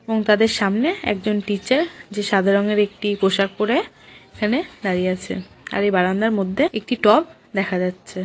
এবং তাদের সামনে একজন টিচার যে সাদা রঙের একটি পোশাক পরে এখানে দাঁড়িয়ে আছে আর এই বারান্দার মধ্যে একটি টব দেখা যাচ্ছে।